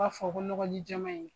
B'a fɔ ko nɔgɔji jɛman in